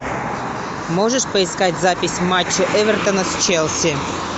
можешь поискать запись матча эвертона с челси